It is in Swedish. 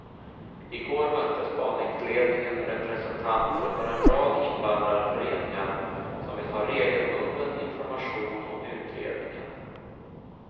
I går mötte spaningsledningen representanter för en rad invandrarföreningar som vill ha regelbunden information om utredningen.